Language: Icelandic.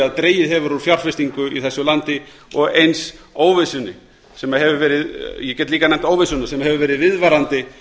að dregið hefur úr fjárfestingu í þessu landi ég get líka óvissuna sem hefur verið viðvarandi